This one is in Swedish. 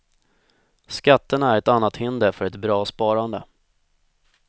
Skatterna är ett annat hinder för ett bra sparande.